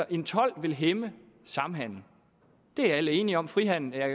en told vil hæmme samhandelen det er alle enige om frihandel er